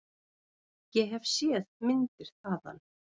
Ég hef séð myndir þaðan.